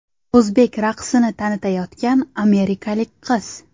O‘zbek raqsini tanitayotgan amerikalik qiz.